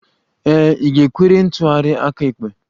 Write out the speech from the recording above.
Ee, ị ga-ewere ntụgharị aka ekpe.